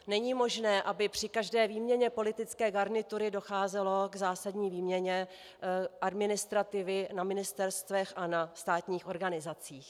Není možné, aby při každé výměně politické garnitury docházelo k zásadní výměně administrativy na ministerstvech a na státních organizacích.